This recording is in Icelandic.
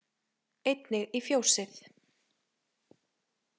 Einnig í fjósið.